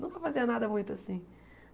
Nunca fazia nada muito assim.